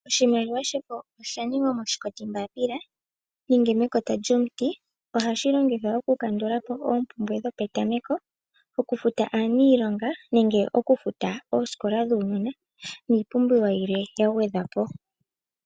Oshimaliwa shefo osha ningwa moshikoti mbapila nenge mekota lyomuti. Ohashi longithwa okukandulapo oompumbwe dhopetameko, okufuta aaniilonga nenge oosikola dhuunona niipumbiwa yimwe yagwedhwa po.